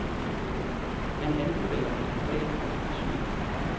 Han anbefaler et globalt perspektiv.